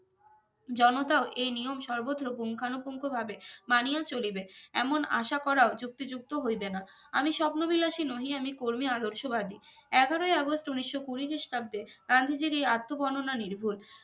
জনতা ও এই নিয়ম সর্বত্র পুঙ্খানুপুঙ্খ ভাবে মানিয়া চলিবে এমন আশা করাও যুক্তিযুক্ত হইবে না আমি স্বপ্নবিলাসী নহি আমি কর্মী আদর্শবাদী এগারোই august উনিশ কুড়ি খ্রিস্টাব্দে গান্ধীজির এই আত্ম বর্ণনা নির্ভুল